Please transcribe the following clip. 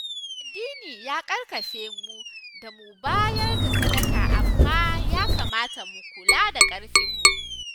Addini ya ƙarfafemu da mu bayar da sadaka amma ya kamata mu kula da ƙarfinmu